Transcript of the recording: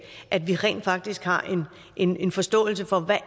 at vi rent faktisk har en en forståelse for hvad